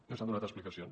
no s’han donat explicacions